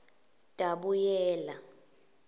tabuyela